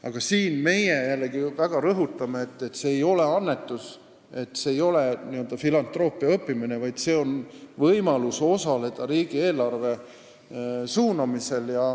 Aga meie jällegi väga rõhutame, et see ei ole annetus ega n-ö filantroopia õppimine, vaid see on võimalus osaleda riigieelarve suunamisel.